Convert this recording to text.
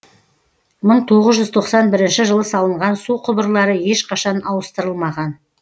мың тоғыз жүз тоқсан бірінші жылы салынған су құбырлары ешқашан ауыстырылмаған